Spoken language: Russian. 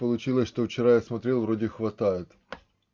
получилось что вчера я смотрел вроде хватает